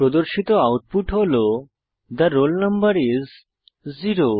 প্রদর্শিত আউটপুট হল the roll number is 0